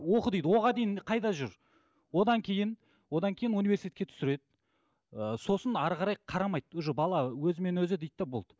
оқы дейді оған дейін қайда жүр одан кейін одан кейін университетке түсіреді ы сосын әрі қарай қарамайды уже бала өзімен өзі дейді де болды